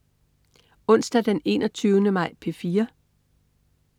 Onsdag den 21. maj - P4: